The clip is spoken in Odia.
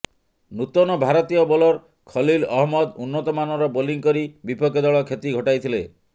ନୂତନ ଭାରତୀୟ ବୋଲର୍ ଖଲ୍ଲିଲ୍ ଅହମ୍ମଦ ଉନ୍ନତମାନର ବୋଲିଂ କରି ବିପକ୍ଷ ଦଳ କ୍ଷତି ଘଟାଇଥିଲେ